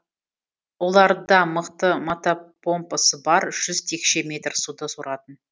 оларда мықты мотопомпасы бар жүз текше метр суды соратын